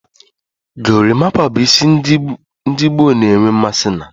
Gorimapa bu isi ndigboo na-enwe mmasi na.